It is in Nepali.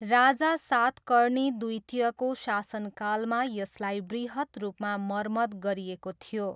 राजा सातकर्णी द्वितीयको शासनकालमा यसलाई बृहत् रूपमा मर्मत गरिएको थियो।